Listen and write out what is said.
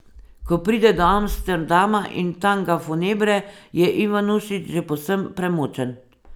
Ko pride do Amsterdama in Tanga Funebre, je Ivanušič že povsem premočen.